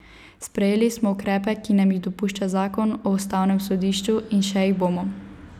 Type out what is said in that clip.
Sprejeli smo ukrepe, ki nam jih dopušča zakon o ustavnem sodišču, in še jih bomo.